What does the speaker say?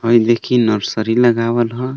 हई देखी नर्सरी लगावल ह.